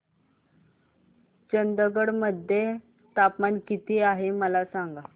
चंदगड मध्ये तापमान किती आहे मला सांगा